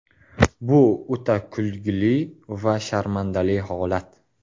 Bu o‘ta kulgili va sharmandali holat.